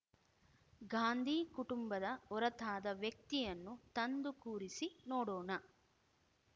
ಗಾಂಧಿ ಕುಟುಂಬದ ಹೊರತಾದ ವ್ಯಕ್ತಿಯನ್ನು ತಂದು ಕೂರಿಸಿ ನೋಡೋಣ